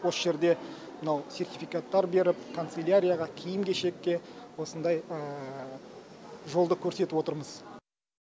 осы жерде мынау сертификаттар беріп канцелярияға киім кешекке осындай жолды көрсетіп отырмыз